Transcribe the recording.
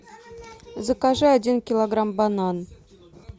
закажи один килограмм бананов